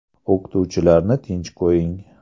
O‘qituvchilarni tinch qo‘ying”.